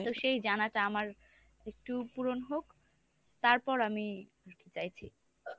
তো সেই জানাটা আমার একটু পূরণ হোক তারপর আমি আরকি চাইছি।